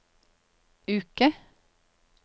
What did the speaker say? uke